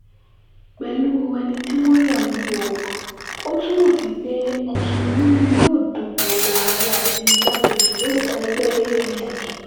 pẹ̀lú ẹni tí wọ́n yàn yìí ó ó túmọ̀ sí pé mùsùlùmí ni yóò dupò ààrẹ àti igbákejì lórúkọ ẹgbẹ́ apc